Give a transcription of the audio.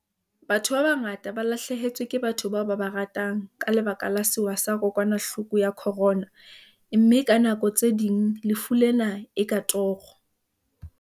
Batho ba bangata ba lahlehetswe ke batho bao ba ba ratang ka lebaka la sewa sa kokwanahloko ya khorona, mme ka nako tse ding lefu lena e ka toro.